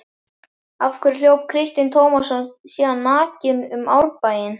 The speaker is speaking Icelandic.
Af hverju hljóp Kristinn Tómasson síðan nakinn um Árbæinn?